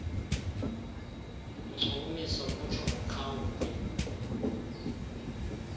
inkcukumiso kutsho kuqhawuke